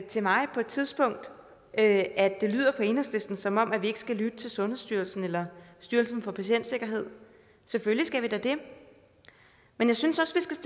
til mig på et tidspunkt at det lyder på enhedslisten som om vi ikke skal lytte til sundhedsstyrelsen eller styrelsen for patientsikkerhed selvfølgelig skal vi da det men jeg synes